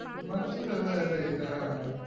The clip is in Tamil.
மற்றவரை நான்